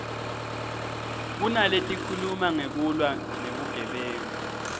kunaletikhuluma ngekulwa nebugebengu